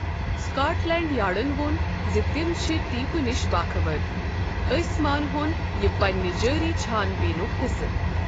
Scot land یارڈن وۄن زِ تِم چھِ 'ٹیپہِ نِش باخَبر، ٲسۍ مان ہون یہِ پننہِ جٲری چھان بیٖنُک حصہٕ'۔